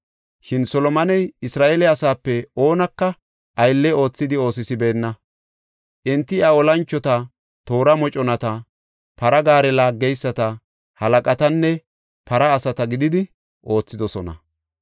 Shin Solomoney Isra7eele asaape oonaka aylle oothidi oosisibeenna. Enti iya olanchota, toora moconata, para gaare laaggeyisata halaqatanne para asata gididi oothidosona.